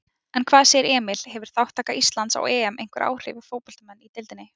En hvað segir Emil, hefur þátttaka Íslands á EM einhver áhrif á fótboltamenn í deildinni?